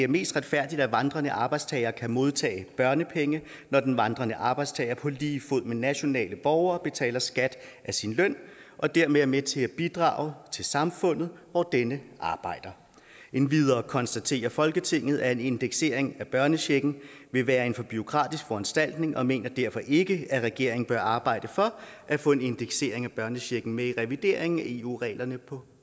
mest retfærdigt at vandrende arbejdstagere kan modtage børnepenge når den vandrende arbejdstager på lige fod med nationale borgere betaler skat af sin løn og dermed er med til at bidrage til samfundet hvor denne arbejder endvidere konstaterer folketinget at en indeksering af børnechecken vil være en for bureaukratisk foranstaltning og mener derfor ikke at regeringen bør arbejde for at få en indeksering af børnechecken med i revideringen af eu reglerne på